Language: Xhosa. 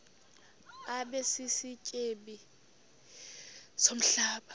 abe sisityebi somhlaba